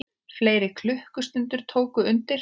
Fleiri klukkur tóku undir.